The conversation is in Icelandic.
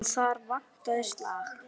En þar vantaði slag.